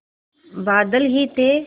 बादल ही थे